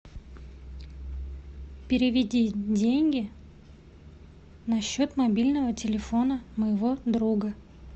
переведи деньги на счет мобильного телефона моего друга